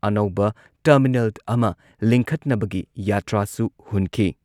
ꯑꯅꯧꯕ ꯇꯔꯃꯤꯅꯦꯜ ꯑꯃ ꯂꯤꯡꯈꯠꯅꯕꯒꯤ ꯌꯥꯇ꯭ꯔꯥꯁꯨ ꯍꯨꯟꯈꯤ꯫